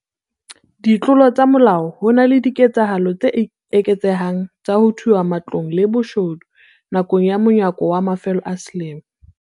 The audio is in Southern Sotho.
Ditlolo tsa molao Ho na le diketsahalo tse eketsehang tsa ho thuba matlong le boshodu nakong ya monyaka wa mafelo a selemo.